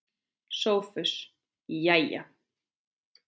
SOPHUS: Jæja!